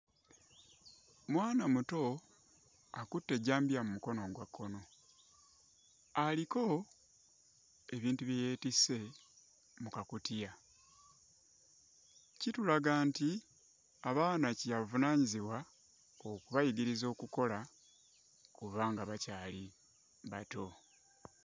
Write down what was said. Mwana muto akutte ejjambiya mu mukono ogwa kkono, aliko ebintu bye yeetisse mu kakutiya, kitulaga nti abaana kyabuvunaanyizibwa okubayigiriza okukola okuva nga bakyali bato.